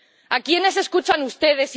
¿A quiénes escuchan ustedes?